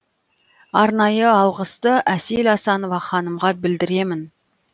арнайы алғысты әсел асанова ханымға білдіремін